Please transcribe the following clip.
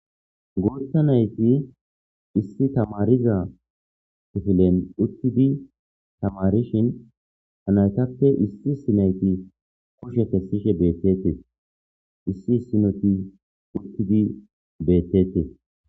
Guuththa nayti issi tamaariza kifilen uttidi tamaarishin ha naytappe issi issi nayti kushe kessishe deettes. Issi issinoti uttidi beettetes.